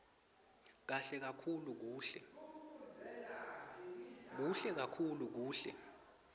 kuhle kakhulu kuhle